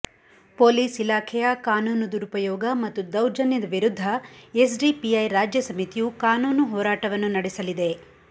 police ಇಲಾಖೆಯ ಕಾನೂನು ದುರುಪಯೋಗ ಮತ್ತು ದೌರ್ಜನ್ಯದ ವಿರುದ್ಧ ಎಸ್ಡಿಪಿಐ ರಾಜ್ಯ ಸಮಿತಿಯು ಕಾನೂನು ಹೋರಾಟವನ್ನು ನಡೆಸಲಿದೆ